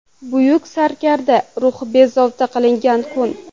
Buyuk sarkarda ruhi bezovta qilingan kun.